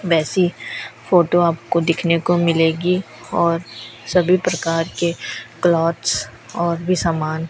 वैसी फोटो आपको दिखने को मिलेगी और सभी प्रकार के क्लोथ्स और भी सामान--